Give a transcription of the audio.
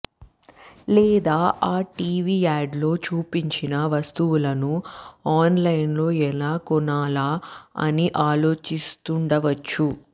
లేదా ఆ టీవీ యాడ్లో చూపించిన వస్తువులను ఆన్లైన్లో ఎలా కొనాలా అని ఆలోచిస్తుండవచ్చు